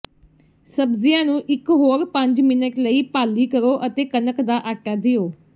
ਸਬਜ਼ੀਆਂ ਨੂੰ ਇਕ ਹੋਰ ਪੰਜ ਮਿੰਟ ਲਈ ਭਾਲੀ ਕਰੋ ਅਤੇ ਕਣਕ ਦਾ ਆਟਾ ਦਿਓ